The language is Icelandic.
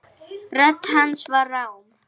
Rödd hans var rám.